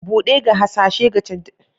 Buɗe ga hasashe da canje-canje a kasuwa.